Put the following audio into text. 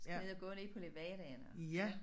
Skal ned og gå nede på Levedaen og